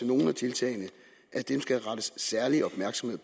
nogle af tiltagene at dem skal der rettes særlig opmærksomhed